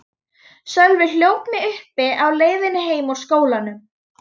Sölvi hljóp mig uppi á leiðinni heim úr skólanum.